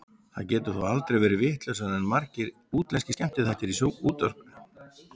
Það getur þó aldrei orðið vitlausara en margir útlenskir skemmtiþættir í sjónvarpinu.